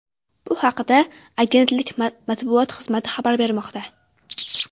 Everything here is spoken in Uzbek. Bu haqda Agentlik matbuot xizmati xabar bermoqda .